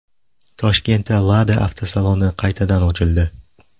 Toshkentda Lada avtosaloni qaytadan ochildi.